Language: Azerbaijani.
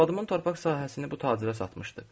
Arvadımın torpaq sahəsini bu tacirə satmışdıq.